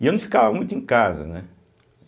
E eu não ficava muito em casa, né?